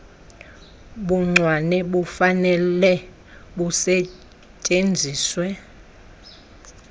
buncwane bufanele busetyenziswe